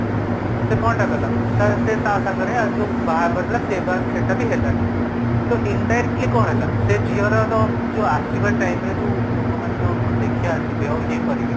ସେ କଣଟା କଲା ତ ସେ ତା ସାଙ୍ଗରେ ଯୋଉ ବାହାଘରଟା ଥିଲା ସେଟାବି ହେଲାନି, ତ indirectly କଣ ହେଲା ସେ ଝିଅର ତ ଆସିବା time ରେ ଲୋକ ମାନେ ଯୋଉ ଦେଖିବାକୁ ଆସିବେ ଆଉ ୟେ କରିବେ